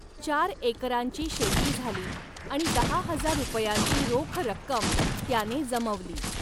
चार एकरांची शेती झाली आणि दहा हजार रुपयांची रोख रक्कम त्याने जमवली.